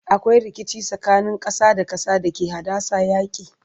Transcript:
akwai rikici tsakanin ƙasa da ƙasa da ke haddasa yaki